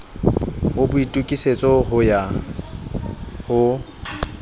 ho boitokisetso ho ya ho